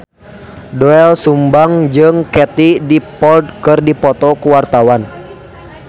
Doel Sumbang jeung Katie Dippold keur dipoto ku wartawan